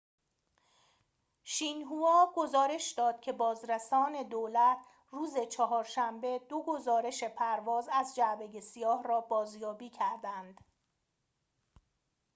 شین هوا گزارش داد که بازرسان دولت روز چهارشنبه دو گزارش پرواز از جعبه سیاه را بازیابی کردند